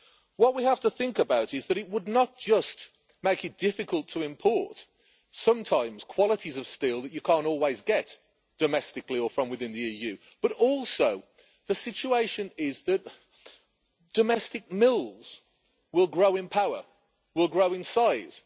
What we have to think about is that it would not just make it difficult to import sometimes qualities of steel that you can't always get domestically or from within the EU, but also the situation is that domestic mills will grow in power and grow in size.